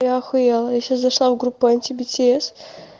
я ахуела я сейчас зашла в группу анти бтс